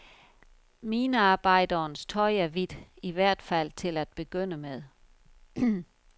Minearbejderens tøj er hvidt, i hvert fald til at begynde med.